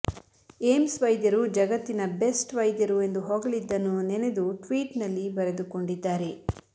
AIIMS ವೈದ್ಯರು ಜಗತ್ತಿನ best ವೈದ್ಯರು ಎಂದು ಹೊಗಿಳಿದ್ದನ್ನು ನೆನೆದು ಟ್ವೀಟ್ನಲ್ಲಿ ಬರೆದುಕೊಂಡಿದ್ದಾರೆ